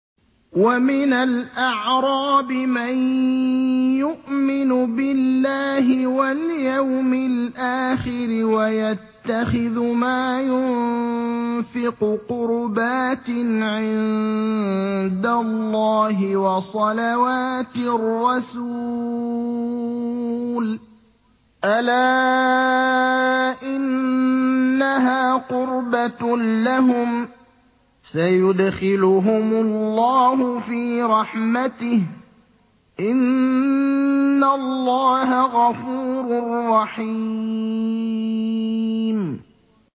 وَمِنَ الْأَعْرَابِ مَن يُؤْمِنُ بِاللَّهِ وَالْيَوْمِ الْآخِرِ وَيَتَّخِذُ مَا يُنفِقُ قُرُبَاتٍ عِندَ اللَّهِ وَصَلَوَاتِ الرَّسُولِ ۚ أَلَا إِنَّهَا قُرْبَةٌ لَّهُمْ ۚ سَيُدْخِلُهُمُ اللَّهُ فِي رَحْمَتِهِ ۗ إِنَّ اللَّهَ غَفُورٌ رَّحِيمٌ